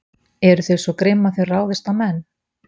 Eru þau svo grimm að þau ráðist á menn?